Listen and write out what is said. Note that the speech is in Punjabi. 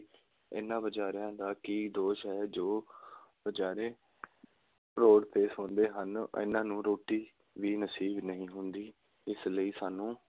ਇਹਨਾ ਵਿਚਾਰਿਆਂ ਦਾ ਕੀ ਦੋਸ਼ ਹੈ, ਜੋ ਵਿਚਾਰੇ road 'ਤੇ ਸੌਂਦੇ ਹਨ, ਇਹਨਾ ਨੂੰ ਰੋਟੀ ਵੀ ਨਸੀਬ ਨਹੀਂ ਹੁੰਦੀ, ਇਸ ਲਈ ਸਾਨੂੰ